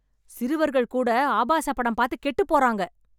சிறுவர்கள் கூட ஆபாச படம் பார்த்து கெட்டு போறாங்க.